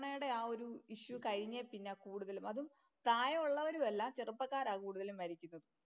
കൊറോണയുടെ ആ ഒരു ഇഷ്യൂ കഴിഞ്ഞേ പിന്നാ കൂടുതലും. അതും പ്രായമുള്ളവരുമല്ല ചെറുപ്പക്കാരാ കൂടുതലും മരിക്കുന്നത്.